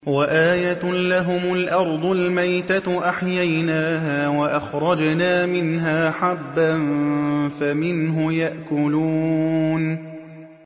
وَآيَةٌ لَّهُمُ الْأَرْضُ الْمَيْتَةُ أَحْيَيْنَاهَا وَأَخْرَجْنَا مِنْهَا حَبًّا فَمِنْهُ يَأْكُلُونَ